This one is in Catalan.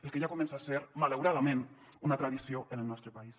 el que ja comença a ser malauradament una tradició en el nostre país